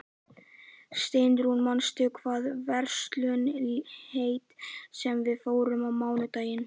Steinrún, manstu hvað verslunin hét sem við fórum í á mánudaginn?